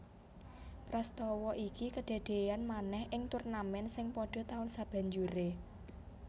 Prastawa iki kedadéyan manèh ing turnamèn sing padha taun sabanjuré